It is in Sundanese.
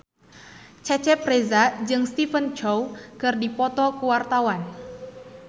Cecep Reza jeung Stephen Chow keur dipoto ku wartawan